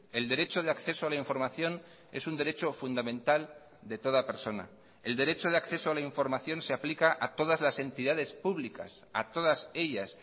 el derecho de acceso a la información es un derecho fundamental de toda persona el derecho de acceso a la información se aplica a todas las entidades públicas a todas ellas